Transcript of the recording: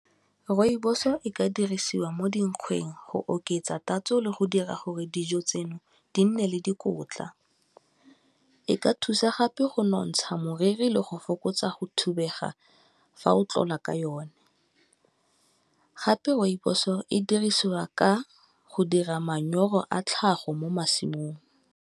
Rooibos o e ka dirisiwa mo dinkgweng go oketsa tatso le go dira gore dijo tseno di nne le dikotla, e ka thusa gape go nontsha moriri le go fokotsa go thubega fa o tlola ka yona, gape rooibos o e dirisiwa ka go dira manyoro a tlhago mo masimong.